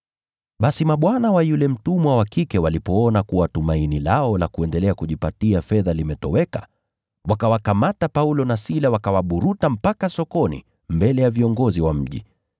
Basi mabwana wa yule mtumwa wa kike walipoona kuwa tumaini lao la kuendelea kujipatia fedha limetoweka, wakawakamata Paulo na Sila wakawaburuta mpaka sokoni mbele ya viongozi wa mji.